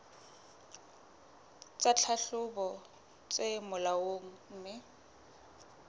tsa tlhahlobo tse molaong mme